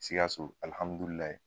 Sikaso